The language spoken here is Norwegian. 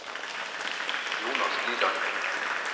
Jonas Liland